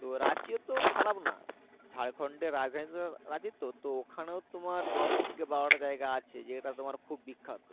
তো রাঁচিও খারাপ না ঝাড়খন্ড রাঁচি তো তো তোমার দশ থেকে বারো টা জায়গা আছে যে এটা তোমার খুব বিখ্যাত